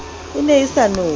e ne e sa nowe